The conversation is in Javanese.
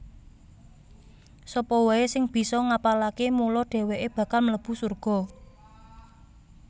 Sapa waé sing bisa ngapalaké mula dhèwèké bakal mlebu surga